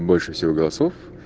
больше всего голосов